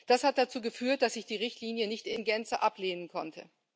Das hat dazu geführt, dass ich die Richtlinie nicht in Gänze ablehnen konnte.